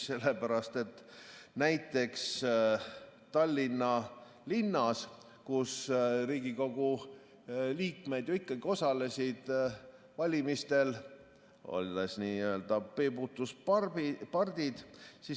Sellepärast et näiteks Tallinnas Riigikogu liikmed ju ikkagi osalesid valimistel, olles n‑ö peibutuspardid.